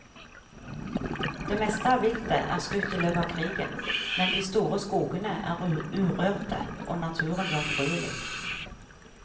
Det meste av viltet er skutt i løpet av krigen, men de store skogene er urørte og naturen jomfruelig.